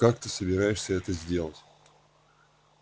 как ты собираешься это сделать